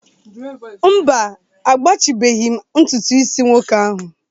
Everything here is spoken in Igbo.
mba, agbachibeghị m ntutu isi nwoke ahụ